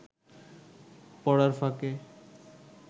পড়ার ফাঁকে